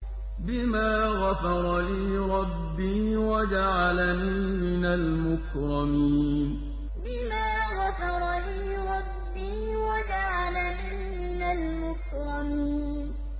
بِمَا غَفَرَ لِي رَبِّي وَجَعَلَنِي مِنَ الْمُكْرَمِينَ بِمَا غَفَرَ لِي رَبِّي وَجَعَلَنِي مِنَ الْمُكْرَمِينَ